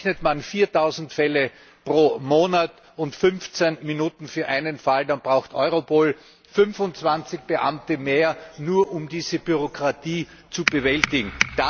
Rechnet man 4000Fälle pro Monat und 15Minuten für einen Fall, dann braucht Europol 25Beamte mehr, nur um diese Bürokratie zu bewältigen.